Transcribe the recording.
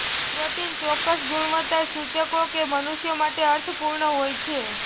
protein ચોક્કસ ગુણવત્તા સૂચકો કે મનુષ્યો માટે અર્થપૂર્ણ હોય છે